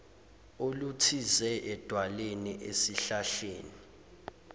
oluthize edwaleni esihlahleni